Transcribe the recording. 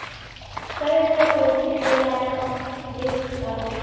swanetše go sepelelana le karolo